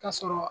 Ka sɔrɔ